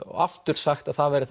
aftur sagt að það væri